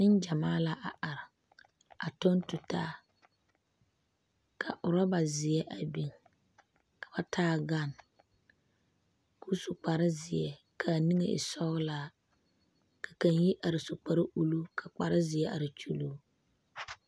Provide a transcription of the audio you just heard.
Neŋgyamaa la a are a tɔŋ tu taa ka oroba zeɛ a biŋ ka ba taa gane ka o su kpare zeɛ ka aniŋe e sɔgelaa ka kaŋa yi are su kparre uluu ka kparre zeɛ are kyuluu